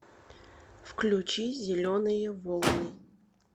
включи зеленые волны